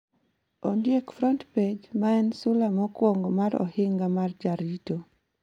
Ondiek front page, ma en sula mokwongo mar Ohinga mar Jarito